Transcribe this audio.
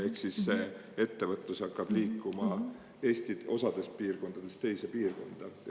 Ehk siis ettevõtlus hakkab liikuma Eesti ühest piirkonnast teise.